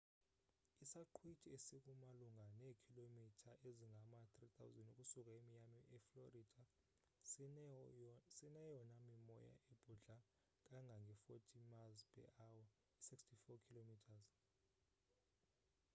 isaqhwithi esiku malunga neekhilomitha ezingama-3000 ukusuka emiami eflorida sineyona mimoya ebhudla kangange -40 mph i-64 kph